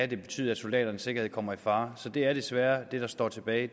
det betyde at soldaternes sikkerhed kommer i fare så det er desværre det der står tilbage